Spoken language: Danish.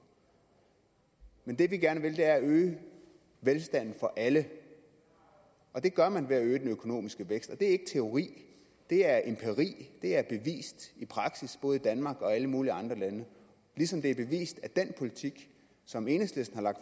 men det vi gerne vil er at øge velstanden for alle og det gør man ved at øge den økonomiske vækst det er ikke teori det er empiri det er bevist i praksis både i danmark og i alle mulige andre lande ligesom det er bevist at den politik som enhedslisten har lagt